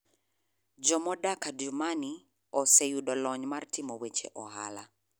Jo modak Adjumani oseyudo lony mar timo weche ohala.